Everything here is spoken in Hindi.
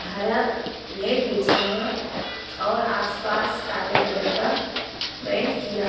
हरा नेट बिछा है और आसपास काले कलर का पेंट किया --